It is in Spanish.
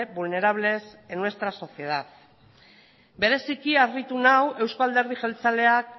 vulnerables en nuestra sociedad bereziki harritu nau eusko alderdi jeltzaleak